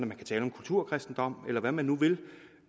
man kan tale om kulturkristendom eller hvad man nu vil